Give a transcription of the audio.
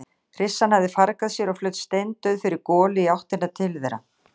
Hryssan hafði fargað sér og flaut steindauð fyrir golu í áttina til þeirra.